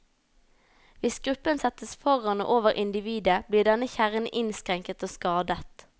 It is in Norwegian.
Hvis gruppen settes foran og over individet, blir denne kjernen innskrenket og skadet.